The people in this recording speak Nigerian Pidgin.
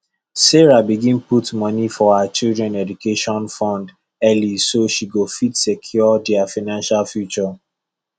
sarah begin put money for her children education fund early so she go fit secure their financial future